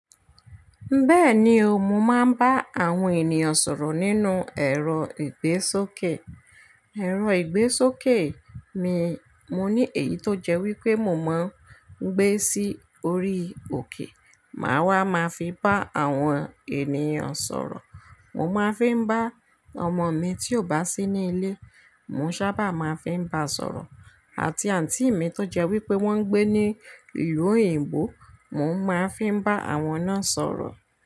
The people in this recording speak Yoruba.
Bẹ́ẹ̀ni o, mo máa ń bá àwọn ènìyàn sọ̀rọ̀ nínú ẹ̀rọ ìgbésókè. Ẹ̀rọ ìgbésókè mi, mo ní èyí tó jẹ́ wípé mo máa ń gbé sí orí òkè, màá wá máa fi bá àwọn ènìyàn sọ̀rọ̀. Mo máa ń fi ń bá ọmọ mi tí ò bá sí ní ilé, mo sábà máa ń fi ń bá a sọ̀rọ̀. Àti àǹtí mi tó jẹ́ wípé wón ń gbé ní ìlú òyìnbó, mo ń máa ń fi ń bá àwọn náà sọ̀rọ̀